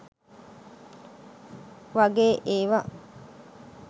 වගේ ඒවා.